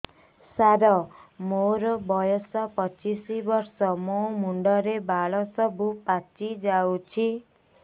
ସାର ମୋର ବୟସ ପଚିଶି ବର୍ଷ ମୋ ମୁଣ୍ଡରେ ବାଳ ସବୁ ପାଚି ଯାଉଛି